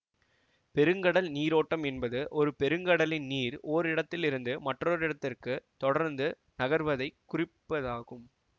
பெருங்கடல் நீரோட்டம் என்பது ஒரு பெருங்கடலின் நீர் ஓரிடத்திலிருந்து மற்றோரிடத்திற்கு தொடர்ந்து நகர்வதைக் குறிப்பதாகும்